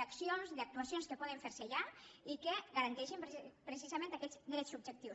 d’accions d’actuacions que poden fer se ja i que garanteixin precisament aquests drets subjectius